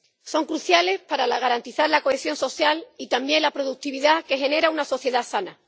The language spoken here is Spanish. son cruciales para garantizar la cohesión social y también la productividad, que generan una sociedad sana.